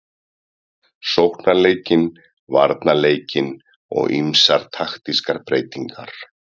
Sóknarleikinn, varnarleikinn og ýmsar taktískar breytingar.